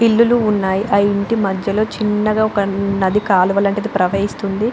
ఇల్లులు ఉన్నాయి. ఆ ఇంటి మధ్యలో చిన్నగా ఒక్క నది కాలువ లాంటిది ప్రవహిస్తుంది.